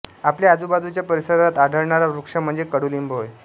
आपल्या आजूबाजूच्या परिसरात आढळणारा वृक्ष म्हणजे कडुलिंब होय